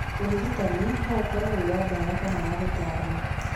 Ũrigitanĩ no ũkorwo wĩ wa ndawa kana wa gũtarwo.